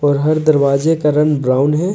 और हर दरवाजे का रंग ब्राउन है।